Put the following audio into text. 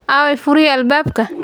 Aaway furihii albaabka?